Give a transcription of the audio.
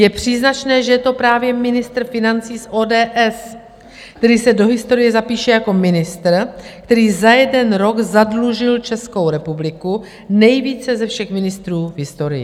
Je příznačné, že je to právě ministr financí z ODS, který se do historie zapíše jako ministr, který za jeden rok zadlužil Českou republiku nejvíce ze všech ministrů v historii.